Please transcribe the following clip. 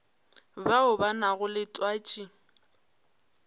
bao ba nago le twatši